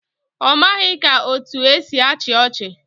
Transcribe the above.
Ọ maghị ka etu esi achị ọchị